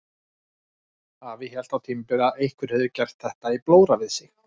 Afi hélt á tímabili að einhver hefði gert þetta í blóra við sig.